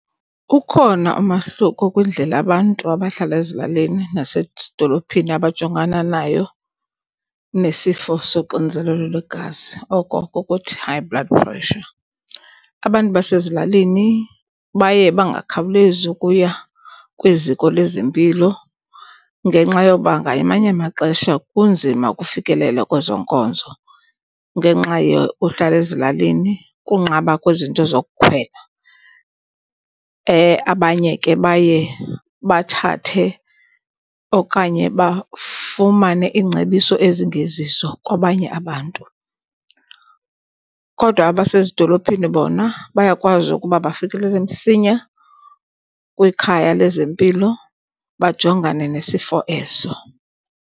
Ukhona umahluko kwindlela abantu abahlala ezilalini nasedolophini abajongana nayo nesifo soxinzelelo lwegazi, oko kukuthi high blood pressure. Abantu basezilalini baye bangakhawulezi ukuya kwiziko lezempilo ngenxa yoba ngamanye amaxesha kunzima ukufikelela kwezo nkonzo ngenxa yokuhlala ezilalini, kunqaba kwezinto zokukhwela. Abanye ke baye bathathe okanye bafumane iingcebiso ezingezizo kwabanye abantu. Kodwa abasezidolophini bona bayakwazi ukuba bafikelele msinya kwikhaya lezempilo bajongane nesifo eso.